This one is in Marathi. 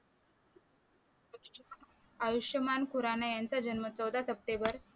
आयुष्मान खुराणा यांचा जन्म चौदा सप्टेंबर